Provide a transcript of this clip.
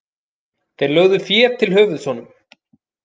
Þeir lögðu fé til höfuðs honum.